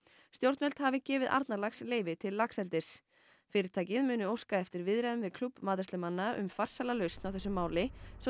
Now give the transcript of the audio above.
stjórnvöld hafi gefið Arnarlax leyfi til laxeldis fyrirtækið muni óska eftir viðræðum við klúbb matreiðslumanna um farsæla lausn á þessu máli svo